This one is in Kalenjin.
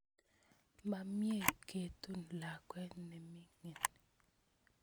Ma mye ketun lakwet ne mining'